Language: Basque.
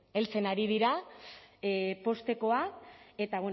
heltzen ari dira poztekoa eta